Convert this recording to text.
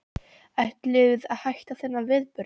Ætlið að hætta við þennan viðburð?